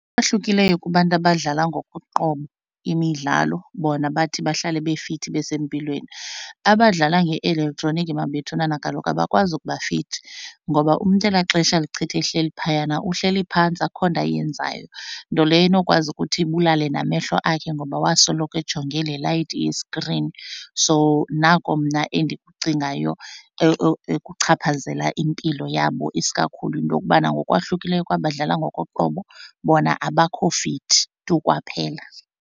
Bahlukileyo kubantu abadlala ngokoqobo imidlalo, bona bathi bahlale befithi besempilweni. Abadlala nge-elektroniki mabethunana kaloku abakwazi ukubafithi ngoba umntu elaa xesha alichitha ehleli phayana uhleli phantsi akukho nto ayenzayo, nto leyo enokwazi ukuthi ibulale namehlo akhe ngoba wasoloko ejonge le light ye-screen. So nako mna endikucingayo ekuchaphazela impilo yabo, isikakhulu into yokubana ngokwahlukileyo kwabadlala ngokoqobo bona abakho fithi tu kwaphela.